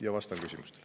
Ja vastan küsimustele.